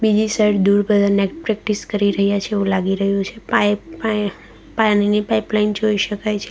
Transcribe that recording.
બીજી સાઈડ દૂર બધા નેટ પ્રેક્ટિસ કરી રહ્યા છે એવું લાગી રહ્યું છે પાઈ પાયા પાણીની પાઇપલાઇન જોઈ શકાય છે.